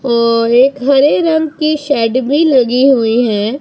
ओ एक हरे रंग की शेड भी लगी हुई है।